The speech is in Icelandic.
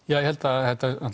ég held að